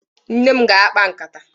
Nne m ga-akpa nkata.